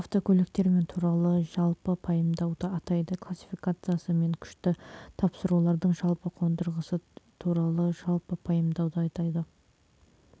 автокөліктер мен туралы жалпы пайымдауды айтады классификациясы мен күшті тапсырулардың жалпы қондырғысы туралы жалпы пайымдауды айтады